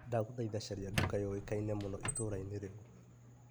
Ndagũthaitha caria nduka yũĩka-ine mũno itũra-inĩ rĩu ?